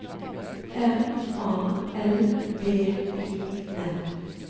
M A L V I N